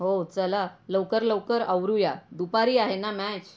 हो चला लवकर लवकर आवरुया दुपारी आहे ना मॅच.